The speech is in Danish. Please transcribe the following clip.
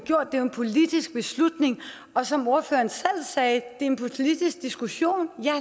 jo en politisk beslutning og som ordføreren selv sagde er det en politisk diskussion ja